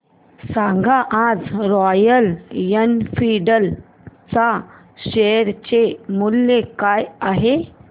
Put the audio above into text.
सांगा आज Royal Enfield च्या शेअर चे मूल्य काय आहे